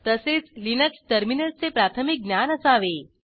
तसेच लिनक्स टर्मिनलचे प्राथमिक ज्ञान असावे